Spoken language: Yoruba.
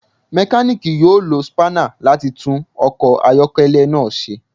Mekaniki yoo lo spanner lati tun ọkọ ayọkẹlẹ naa ṣe